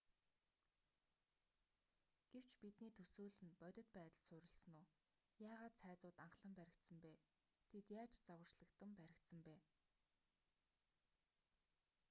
гэвч бидний төсөөлөл нь бодит байдал суурилсан үү? яагаад цайзууд анхлан баригдсан бэ?тэд яаж загварчлагдан баригдсан бэ?